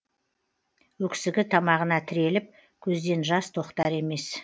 өксігі тамағына тіреліп көзден жас тоқтар емес